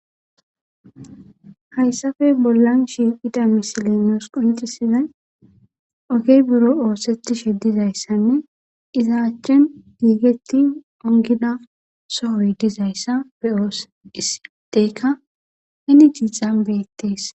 hayssafe bollan shiiqida misilen nuus qonccisizay ogey buro oosetishe dizayssanne iza achchen giigetti ongida sohoy dizayssa be7oos issi adeykka heni dixan beettees.